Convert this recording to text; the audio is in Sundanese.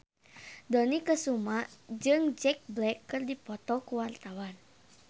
Dony Kesuma jeung Jack Black keur dipoto ku wartawan